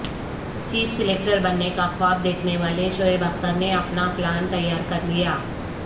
chief selector بننے کا خواب دیکھنے والے شعیب اختر نے اپنا پلان تیارکرلیا